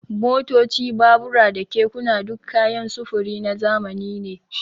Motoci, babura da kekuna duk kayan sufuri na zamani ne.